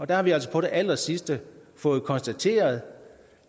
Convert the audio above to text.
der har vi altså på det allersidste fået konstateret